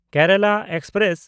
Kerala express